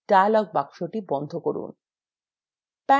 dialog box বন্ধ করুন